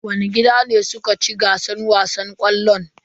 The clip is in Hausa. Wani gida ne suka ci gasar wasan ƙwallon?